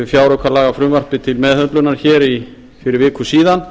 fjáraukalagafrumvarpið til meðhöndlunar hér fyrir viku síðan